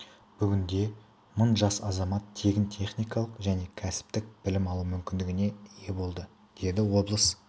бүгінде мың жас азамат тегін техникалық және кәсіптік білім алу мүмкіндігіне ие болды деді облыс